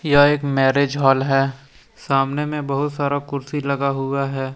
यह एक marriage hall है सामने में बहुत सारा कुर्सी लगा हुआ है।